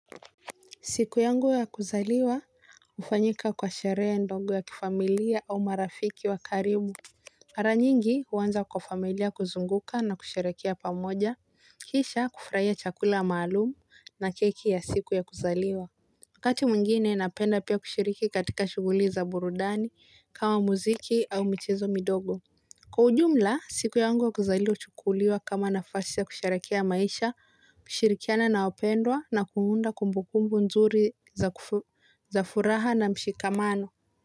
Siku yangu ya kuzaliwa, hufanyika kwa sherehe ndogo ya kifamilia au marafiki wa karibu. Mara nyingi, uanza kwa familia kuzunguka na kusherekea pamoja, kisha kufurahia chakula maalum na keki ya siku ya kuzaliwa. Wakati mwingine, napenda pia kushiriki katika shughuli za burudani kama muziki au michezo midogo. Kwa ujumla, siku yangu ya kuzaliwa huchukuliwa kama nafasi ya kusherekea maisha, kushirikiana na wapendwa na kuunda kumbukumbu nzuri za furaha na mshikamano.